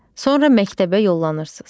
Sonra məktəbə yollanırsız.